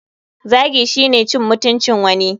Zagi shine cin mutuncin wani.